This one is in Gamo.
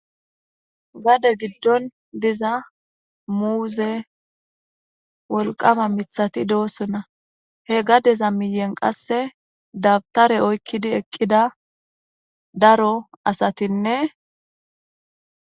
Gade giddon diza muuze wolqama mithati doosona he gadeza miyen qasse dabtare oykkidi eqqida daro asatinne.